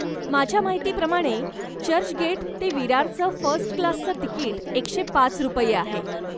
माझ्या मीहितीप्रमाणे, चर्चगेट ते विरारचं फर्स्टक्लासचं तिकीट एकशे पाच रुपये आहे.